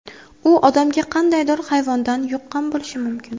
U odamga qandaydir hayvondan yuqqan bo‘lishi mumkin.